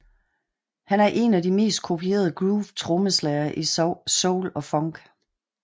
Han er en af de mest kopierede groove trommeslagere i Soul og Funk